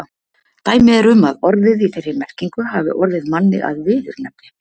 Dæmi er um að orðið í þeirri merkingu hafi orðið manni að viðurnefni.